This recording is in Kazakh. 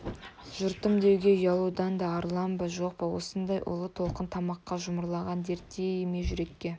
жұртым деуге ұялудан арылам ба жоқ па осындай ұлы толқын тамаққа жұмарланған дерттей ме жүрекке